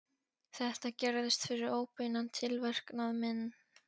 Þetta gerðist fyrir óbeinan tilverknað minn.